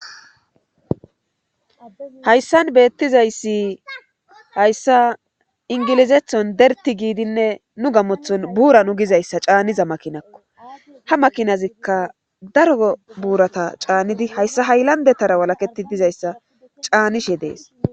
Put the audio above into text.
Hayssan beettizayssi hayssa ingilizethon derti giidinne nu gamothon buura nu gizayssa caaniza makinakko ha makinazikka daro buurata caannidi hayssa hayllandetara walaketi dizayssa caanishe dees.